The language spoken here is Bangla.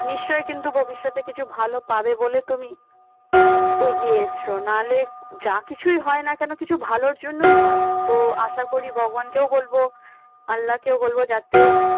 নিশ্চয় কিন্তু ভবিষ্যতে কিছু ভাল পাবে বলে তুমি এগিয়ে এসছো নাহলে যা কিছুই হয় না কেন কিছু ভালোর জন্য হয়। তো আশা করি ভগবানকেও বলব আল্লাহকেও বলব যাতে